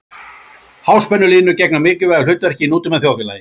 Háspennulínur gegna mikilvægu hlutverki í nútíma þjóðfélagi.